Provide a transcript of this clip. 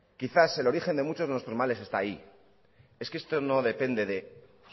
quizás el origen de muchos de nuestros males está ahí es que esto no depende de